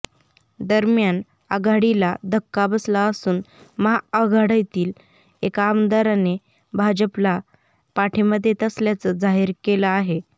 दरम्यान आघाडीला धक्का बसला असून महाआघाडीतील एका आमदाराने भाजपला पाठिंबा देत असल्याचं जाहीर केलं आहे